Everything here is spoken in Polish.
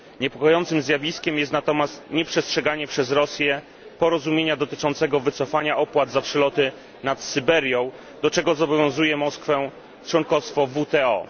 Niepokojącym zjawiskiem jest natomiast nieprzestrzeganie przez Rosję porozumienia dotyczącego wycofania opłat za przeloty nad Syberią, do czego zobowiązuję Moskwę członkostwo w WTO.